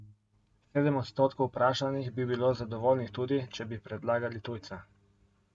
Sedem odstotkov vprašanih bi bilo zadovoljnih tudi, če bi predlagali tujca.